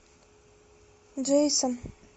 джейсон